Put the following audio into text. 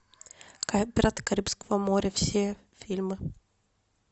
пираты карибского моря все фильмы